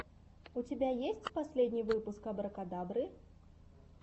у тебя есть последний выпуск абракадабры